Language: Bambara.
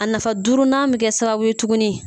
A nafa duurunan bɛ kɛ sababu ye tuguni.